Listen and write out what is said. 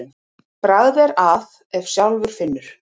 Bragð er að ef sjálfur finnur.